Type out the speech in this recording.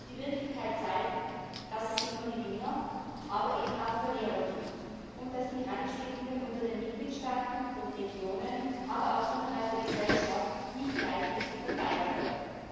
Die Wirklichkeit zeigt, dass es immer Gewinner, aber eben auch Verlierer gibt und dass die Handelsgewinne unter den Mitgliedstaaten, den Regionen, aber auch innerhalb der Gesellschaft nicht gleichmäßig verteilt werden.